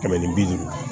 Kɛmɛ ni bi duuru